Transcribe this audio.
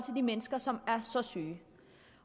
de mennesker som er så syge